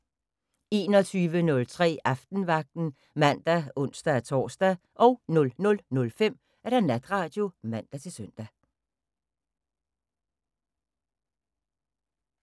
21:03: Aftenvagten (man og ons-tor) 00:05: Natradio (man-søn)